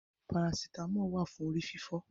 Parasítámọ̀ wà fún orí fífọ́.